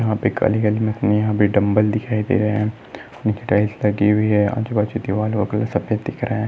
यहाँ पे पे डम्बल दिखाई दे रहे है निचे टाइल्स लगी हुई है आजू बाजू दीवारों का कलर सफ़ेद दिख रहा है।